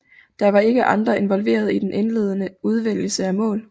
Der var ikke andre involveret i den indledende udvælgelse af mål